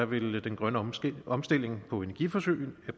vil den grønne omstilling omstilling